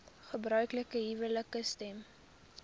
gebruiklike huwelike stem